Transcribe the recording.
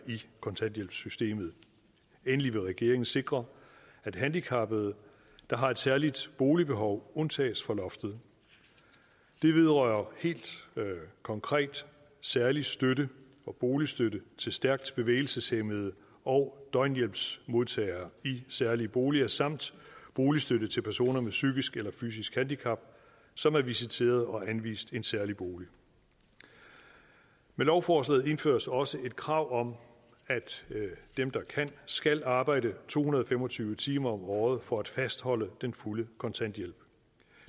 i kontanthjælpssystemet endelig vil regeringen sikre at handicappede der har et særligt boligbehov undtages fra loftet det vedrører helt konkret særlig støtte og boligstøtte til stærkt bevægelseshæmmede og døgnhjælpsmodtagere i særlige boliger samt boligstøtte til personer med psykisk eller fysisk handicap som er visiteret til og anvist en særlig bolig med lovforslaget indføres også et krav om at dem der kan skal arbejde to hundrede og fem og tyve timer om året for at fastholde den fulde kontanthjælp